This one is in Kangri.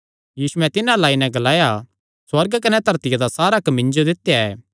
यीशुयैं तिन्हां अल्ल आई नैं ग्लाया सुअर्ग कने धरतिया दा सारा हक्क मिन्जो दित्या ऐ